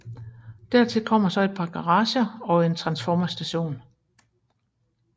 Dertil kommer så et par garager og en transformerstation